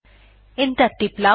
enter টিপলাম